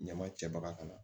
Ɲama cɛbaga kana